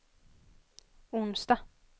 onsdag